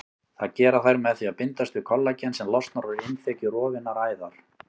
Það gera þær með því að bindast við kollagen sem losnar úr innþekju rofinnar æðar.